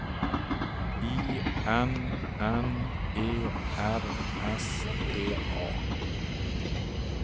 I N N E R S T A